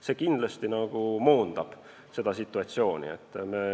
See kindlasti moonutab situatsiooni.